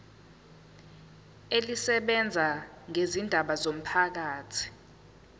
elisebenza ngezindaba zomphakathi